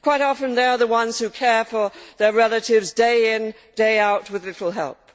Quite often, they are the ones who care for their relatives day in, day out, with little help.